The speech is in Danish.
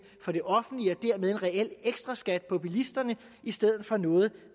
for det offentlige og dermed en reel ekstraskat på bilisterne i stedet for noget